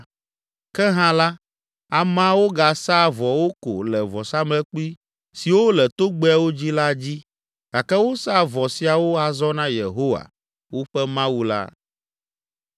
Ke hã la, ameawo gasaa vɔwo ko le vɔsamlekpui siwo le togbɛawo dzi la dzi gake wosaa vɔ siawo azɔ na Yehowa, woƒe Mawu la.